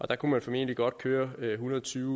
der kunne man formentlig godt køre med en hundrede og tyve